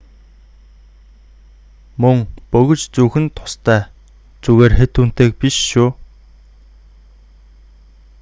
мөн бөгж зүүх нь тустай зүгээр хэт үнэтэйг биш шүү